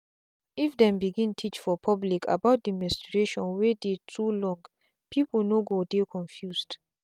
if dem begin teach for public about the menstration wey dey too long people no go dey confused.